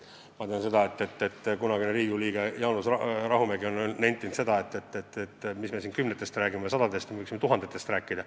Ma tean, et kunagine Riigikogu liige Jaanus Rahumägi on nentinud, et mis me siin kümnetest ja sadadest räägime, võiksime tuhandetest rääkida.